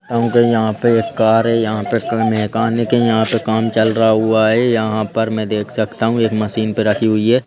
क्योंकि यहाँ पे एक कार है यहाँ पे मैकेनिक है यहाँ पे काम चल रहा हुआ है यहाँ पर मैं देख सकता हूँ एक मशीन पे रखी हुई है।